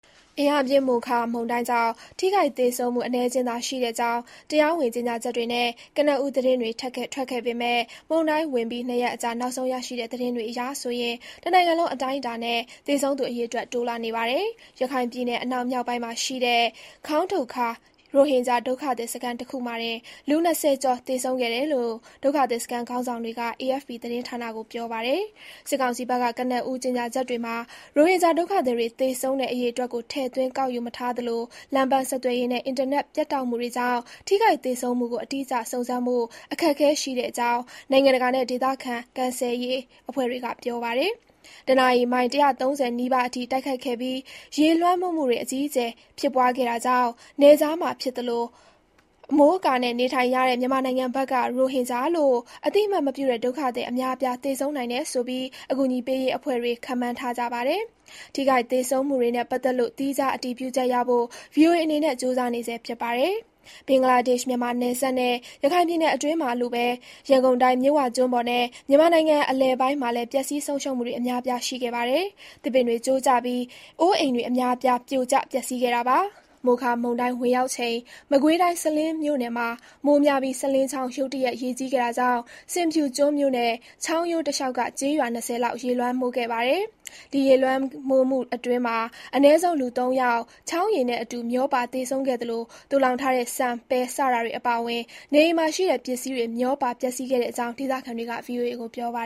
အင်အားပြင်း မိုခါမုန်တိုင်းကြောင့် ထိခိုက်သေဆုံးမှု အနည်းအကျဉ်းသာ ရှိတဲ့အကြောင်း တရားဝင် ကြေညာချက်တွေနဲ့ ကနဦး သတင်းတွေထွက်ခဲ့ပေမယ့် မုန်တိုင်းဝင်ပြီး နှစ်ရက်အကြာ နောက်ဆုံးရရှိတဲ့ သတင်းတွေအရ တနိုင်ငံလုံးအတိုင်းအတာနဲ့ သေဆုံးသူ အရေအတွက် တိုးလာနေပါတယ်။ ရခိုင်ပြည်နယ် အနောက်မြောက်ပိုင်းမှာ ရှိတဲ့ Khaung Doke Kar ခေါင်းဒုတ်ခါး ရိုဟင်ဂျာ ဒုက္ခသည်စခန်း တခုတည်းတင် လူ ၂၀ ကျော်သေဆုံးခဲ့တယ်လို့ ဒုက္ခသည်စခန်း ခေါင်းဆောင်တွေက AFP သတင်းဌာနကို ပြောပါတယ်။ စစ်ကောင်စီဘက်က ကနဦး ကြေညာချက်တွေမှာ ရိုဟင်ဂျာ ဒုက္ခသည်တွေ သေဆုံးတဲ့ အရေအတွက်ကို ထည့်သွင်းကောက်ယူမထားသလို လမ်းပန်းဆက်သွယ်ရေးနဲ့ အင်တာနက်ပြတ်တောက်မှုတွေကြောင့် ထိခိုက်သေဆုံးမှုကို အတိအကျ စုံစမ်းဖို့ အခက်အခဲ ရှိတဲ့အကြောင်း နိုင်ငံတကာနဲ့ ဒေသခံ ကယ်ဆယ်ရေးအဖွဲ့တွေက ပြောပါတယ်။ တနာရီ မိုင် ၁၃၀ နီးပါးအထိ တိုက်ခတ်ခဲ့ပြီး ရေလွှမ်းမိုးမှုတွေ အကြီးအကျယ် ဖြစ်ပွားခဲ့တာကြောင့် နယ်ခြားမှာ ဖြစ်သလို အမိုးအကာနဲ့ နေထိုင်ရတဲ့ မြန်မာနိုင်ငံဘက်က ရိုဟင်ဂျာလို့ အသိအမှတ်မပြုတဲ့ ဒုက္ခသည်အများအပြား သေဆုံးနိုင်တယ်ဆိုပြီး အကူအညီပေးရေးအဖွဲ့တွေ ခန့်မှန်းထားကြပါတယ်။ ထိခိုက်သေဆုံးမှုတွေနဲ့ ပတ်သက်လို့ သီးခြား အတည်ပြုချက်ရဖို့ VOA အနေနဲ့ ကြိုးစားနေဆဲဖြစ်ပါတယ်။ ဘင်္ဂလားဒေ့ရှ် မြန်မာနယ်စပ်နဲ့ ရခိုင်ပြည်နယ်အတွင်းမှာလိုပဲ ရန်ကုန်တိုင်း၊ မြစ်ဝကျွန်းပေါ်နဲ့ မြန်မာနိုင်ငံအလယ်ပိုင်းမှာလည်း ပျက်ဆီးဆုံးရှုံးမှုတွေ အများအပြား ရှိခဲ့ပါတယ်။ သစ်ပင်တွေ ကျိုးကျပြီး အိုးအိမ်တွေ အများအပြား ပြိုကျပျက်ဆီးခဲ့တာပါ။ မိုခါ မုန်တိုင်း ဝင်ရောက်ချိန် မကွေးတိုင်း၊ စလင်းမြို့နယ်မှာ မိုးများပြီး စလင်းချောင်း ရုတ်တရက် ရေကြီးခဲ့တာကြောင့် ဆင်ဖြူကျွန်းမြို့နဲ့ ချောင်းရိုးတလျောက်က ကျေးရွာ ၂၀လောက် ရေလွှမ်းမိုးခဲ့ပါတယ်။ ဒီရေလွှမ်းမိုးမှုအတွင်း အနည်းဆုံး လူ ၃ ယောက် ချောင်းရေနဲ့အတူ မျောပါသေဆုံးခဲ့သလို သိုလှောင်ထားတဲ့ ဆန် ၊ပဲ စတာတွေအပါအဝင် နေအိမ်ရှိ ပစ္စည်းတွေ မျောပါ ပျက်ဆီးခဲ့တဲ့အကြောင်း ဒေသခံတွေက VOA ကို ပြောပါ